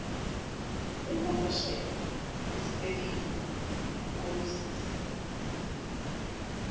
unkonkoshela isitelingi ugqolozisa